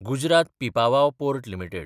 Gujarat Pipavav port limited